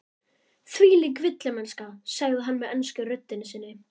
Þvílík villimennska, sagði hann með ensku röddinni sinni.